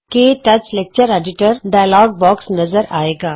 ਕੇ touch lecture editor dialog box ਨਜ਼ਰ ਆਏਗਾ